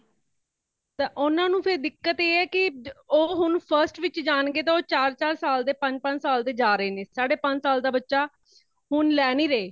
ਤਾਂ ਉਨ੍ਹਾਂ ਨੂੰ ਫੇਰ ਦਿਕੱਤ ਇਹ ਹੈ ਕੀ ,ਉਹ ਹੋਣ first ਵਿੱਚ ਜਾਣਗੇ ਤੇ ਉਹ ਚਾਰ ,ਚਾਰ ਸਾਲ ਦੇ ਤੇ ਪੰਜ, ਪੰਜ ਸਾਲ ਦੇ ਜਾ ਰਹੇ ਨੇ , ਸਾਡੇ ਪੰਜ ਸਾਲ ਦਾ ਬੱਚਾ ਹੋਣ ਲੈ ਨਹੀਂ ਰਹੇ |